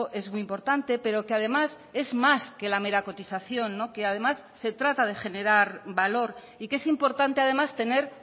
es muy importante pero que además es más que la mera cotización que además se trata de generar valor y que es importante además tener